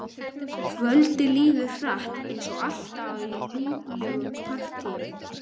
Kvöldið líður hratt eins og alltaf í líflegum partíum.